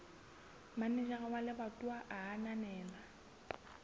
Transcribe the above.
manejara wa lebatowa a ananela